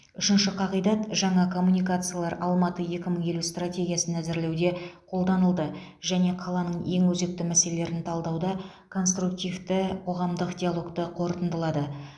үшінші қағидат жаңа коммуникациялар алматы екі мың елу стратегиясын әзірлеуде қолданылды және қаланың ең өзекті мәселелерін талдауда конструктивті қоғамдық диалогты қорытындылады